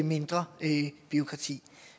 mindre bureaukrati